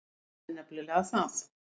Það er nefnilega það.